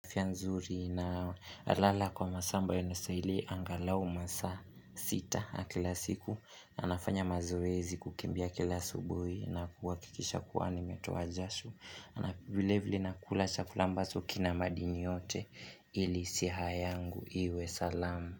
Afya nzuri na nalala kwa masaa ambayo yanastahili angalau masaa sita kila siku anafanya mazoezi kukimbia kila asubuhi na kuhakikisha kuwa nimetoa jasho Anavilevili na kula chakula ambacho kina madini yote ili siha yangu iwe salamu.